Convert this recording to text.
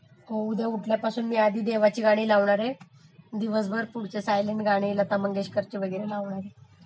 हो उद्या उठल्यापासून मी आधी देवाची गाणी लावणारे मग दिवसभर पुढचे सायलंट गाणी लता मंगेशकरची वगैरे लावणारे.